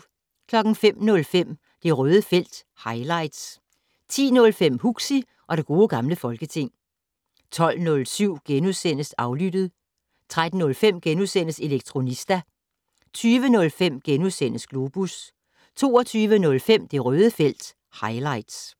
05:05: Det Røde felt - highlights 10:05: Huxi og det gode gamle folketing 12:07: Aflyttet * 13:05: Elektronista * 20:05: Globus * 22:05: Det Røde felt - highlights